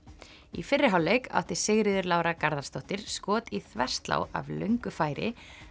í fyrri hálfleik átti Sigríður Lára Garðarsdóttir skot í þverslá af löngu færi